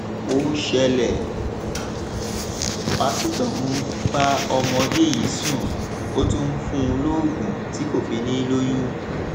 ó ṣẹlẹ pásítọ ń bá ọmọdé yìí sùn ó tún ń fún un lóògùn tí kò fi ní i lóyún